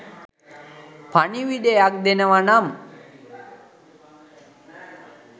පණිවුඩයක් දෙනවා නම්